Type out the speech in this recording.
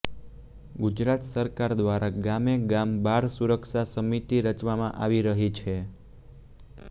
ગુજરાત સરકાર દ્વારા ગામે ગામ બાળ સુરક્ષા સમિતિ રચવામાં આવી રહી છે